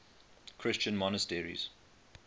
christian monasteries